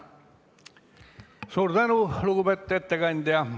Suur tänu, lugupeetud ettekandja!